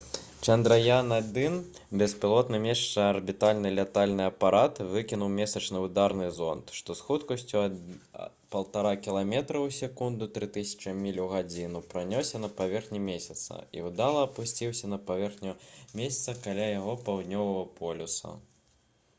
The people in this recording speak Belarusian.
«чандраяан-1» беспілотны месячны арбітальны лятальны апарат выкінуў месячны ўдарны зонд муз што з хуткасцю 1,5 кіламетра ў секунду 3000 міль у гадзіну пранёсся па паверхні месяца і ўдала апусціўся на паверхню месяца каля яго паўднёвага полюса